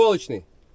Qəlpəli.